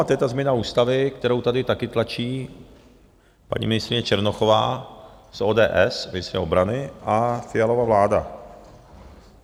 A to je ta změna ústavy, kterou tady taky tlačí paní ministryně Černochová z ODS, ministryně obrany a Fialova vláda.